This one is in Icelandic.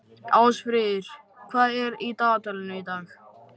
Ásfríður, hvað er í dagatalinu í dag?